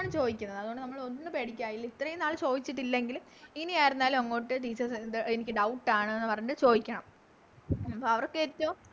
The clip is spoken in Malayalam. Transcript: ആണ് ചോയിക്കുന്നത് അതുകൊണ്ട് നമ്മള് ഒന്നും പേടിക്കാനില്ല ഇത്രേം നാൾ ചോയിച്ചിട്ടില്ലെങ്കിലും ഇനി ആരുന്നാലും അങ്ങോട്ട് Teachers എന്ത് എനിക്ക് Doubt ആണ് ന്ന് പറഞ്ഞിട്ട് ചോയിക്കണം ഉം അവർക്ക് ഇപ്പൊ